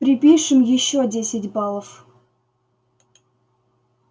припишем ещё десять баллов